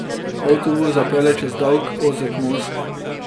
Avtobus zapelje čez dolg, ozek most.